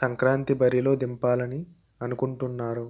సంక్రాంతి బరిలోకి దింపాలని అనుకుంటున్నారు